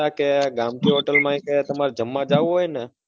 કે ગામઠી hotel માં કે તમારે જમવા જાવું હોય ને